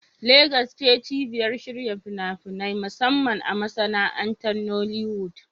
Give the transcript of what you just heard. Legas ce cibiyar shirya fina-finai, musamman a masana'antar Nollywood.